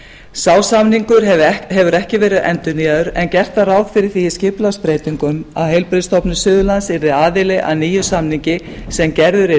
sá samningur hefur ekki verið endurnýjaður en gert var ráð fyrir því í skipulagsbreytingum að heilbrigðisstofnun suðurlands yrði aðili að nýjum samningi sem gerður